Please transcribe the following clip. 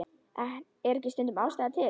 Er ekki stundum ástæða til?